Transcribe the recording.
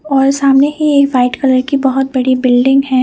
और सामने ही एक वाइट कलर की बहोत बड़ी बिल्डिंग है।